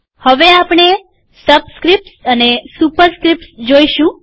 હવે આપણે સબસ્ક્રીપ્ટ્સ અને સુપરસ્ક્રીપ્ટ્સ જોઈશું